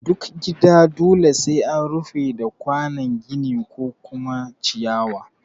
Duk gida dole sai an rufe da kwanon gini ko kuma ciyawa